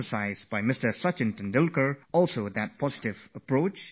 Sachin ji also talked of a positive approach, a positive frame of mind